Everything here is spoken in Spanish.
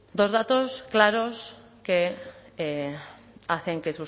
dos datos claros que hacen que